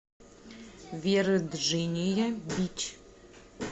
верджиния бич